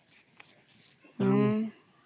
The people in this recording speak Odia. ହଁ